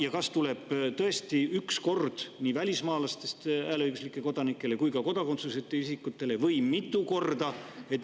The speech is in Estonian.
Ja kas see tuleb tõesti üks kord nii välismaalastest hääleõiguslikele kodanikele kui ka kodakondsuseta isikutele või mitu korda?